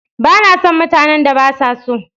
Ba na son mutanen da ba sa so.